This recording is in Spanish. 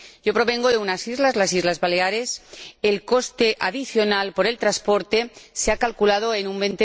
Yo provengo de unas islas, las Islas Baleares, donde el coste adicional por el transporte se ha calculado en un